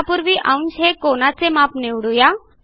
त्यापूर्वी अंश हे कोनाचे माप निवडू या